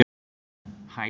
Hæli